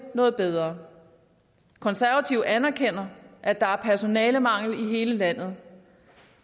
noget bedre konservative anerkender at der er personalemangel i hele landet